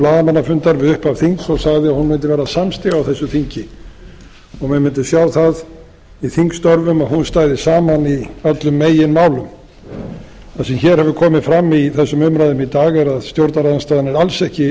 blaðamannafundar við upphaf þings og sagði að hún mundi verða samstiga á þessu þingi og menn mundu sjá það í þingstörfum að hún stæði saman í öllum meginmálum það sem hér hefur komi fram í þessum umræðum í dag er að stjórnarandstaðan er alls ekki